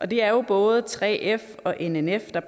det er jo både 3f og nnf der